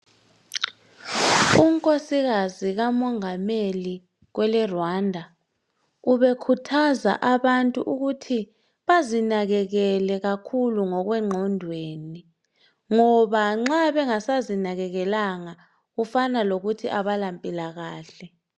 Unkosikazi kamongameli kweleRwanda, ubekhuthaza abantu ukuthi bazinakekele kakhulu ngokwengqondweni, ngoba nxa bengasazinakekelanga kufana lokuthi abalampilakahle.